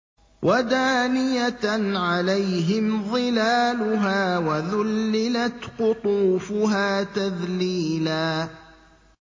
وَدَانِيَةً عَلَيْهِمْ ظِلَالُهَا وَذُلِّلَتْ قُطُوفُهَا تَذْلِيلًا